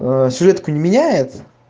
светку не меняет